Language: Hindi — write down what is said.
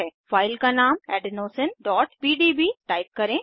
फाइल का नाम adenosineपीडीबी टाइप करें